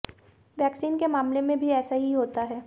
vaccine के मामले में भी ऐसा ही होता है